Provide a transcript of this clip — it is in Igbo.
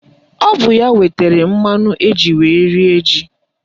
Ọ bụ ya wetara mmanụ eji wee rie ji